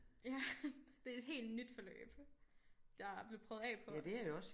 Ja det er et helt nyt forløb der blev prøvet af på os